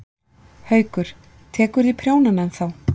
Haukur: Tekurðu í prjónana ennþá?